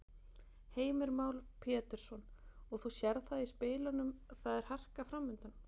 Heimir Már Pétursson: Og þú sérð það í spilunum, það er harka framundan?